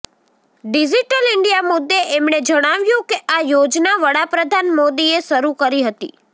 digital India મુદ્દે એમણે જણાવ્યું કે આ યોજના વડાપ્રધાન મોદીએ શરૂ કરી હતી